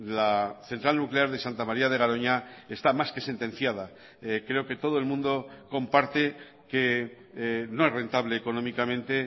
la central nuclear de santa maría de garoña está más que sentenciada creo que todo el mundo comparte que no es rentable económicamente